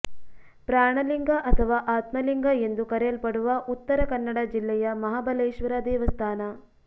ಪ್ರಾಣಲಿಂಗ ಅಥವಾ ಆತ್ಮಲಿಂಗ ಎಂದು ಕರೆಯಲ್ಪಡುವ ಉತ್ತರ ಕನ್ನಡ ಜಿಲ್ಲೆಯ ಮಹಾಬಲೇಶ್ವರ ದೇವಸ್ಥಾನ